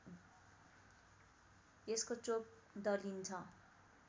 यसको चोप दलिन्छ